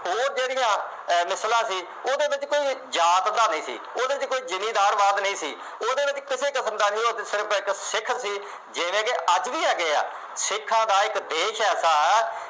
ਉਹ ਜਿਹੜੀਆਂ ਅਹ ਮਿਸਲਾਂ ਸੀ ਉਹਦੇ ਵਿੱਚ ਕੋਈ ਜਾਤ ਦਾ ਨਹੀਂ ਸੀ। ਉਹਦੇ ਚ ਕੋਈ ਜਿਮੀਂਦਾਰ-ਵਾਦ ਨਹੀਂ ਸੀ। ਉਹਦੇ ਵਿੱਚ ਕਿਸੇ ਕਿਸਮ ਦਾ ਨਹੀਂ ਉਹ ਤਾਂ ਸਿਰਫ ਇੱਕ ਸਿੱਖ ਦੀ ਜਿਵੇਂ ਕਿ ਅੱਜ ਵੀ ਹੈਗੇ ਆ, ਸਿੱਖਾਂ ਦਾ ਇੱਕ ਦੇਸ਼ ਐਸਾ